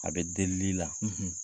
A bɛ delili la